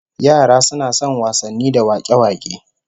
Yara suna son wasanni da wak'e-wak'e